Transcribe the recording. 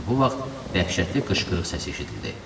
Elə bu vaxt dəhşətli qışqırıq səsi eşidildi.